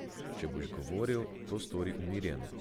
Če boš govoril, to stori umirjeno.